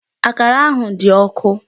Akara ahụ dị ọkụ.